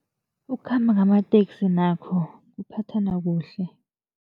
Ukukhamba ngamateksi nakho kuphathana kuhle.